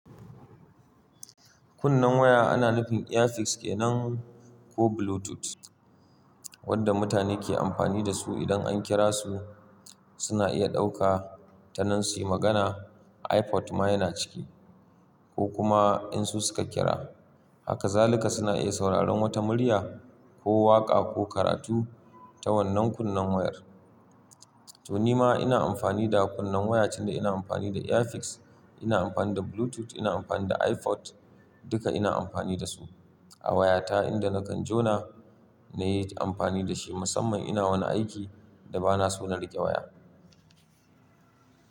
Kunnen waya ana nufin Earpiece kenan ko Bluetooth wanda mutane ke amfani da su idan an kira su. Suna iya ɗauka ta nan su yi magana. iPod ma yana ciki ko kuma in su suka kira. Haka zalika suna iya sauraron wata murya ko waƙa ko karatu ta wannan kunnen wayar. To ni ma ina amfani da kunnen waya, tunda ina amfani da Earpiece, ina amfani da Bluetooth, ina amfani da iPod, duka ina amfani da su a wayata inda na kan jona na yi amfani da shi. Musamman ina wani aiki da ba na so na riƙe waya.